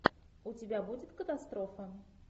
у тебя будет катастрофа